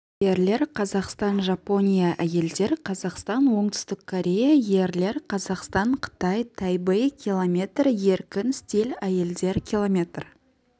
ерлер қазақстан жапония әйелдер қазақстан оңтүстік корея ерлер қазақстан қытай тайбэй километр еркін стиль әйелдер километр